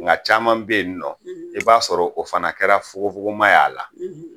Nka caman bɛ yen nɔ i b'a sɔrɔ o fana kɛra fugufuguma y'a la